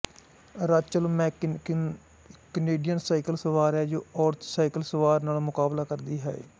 Rachel McKinnon ਇਕ Canadian cycle ਸਵਾਰ ਹੈ ਜੋ ਔਰਤ ਸਾਇਕਲ ਸਵਾਰ ਨਾਲ ਮੁਕਾਬਲਾ ਕਰਦੀ ਹੈ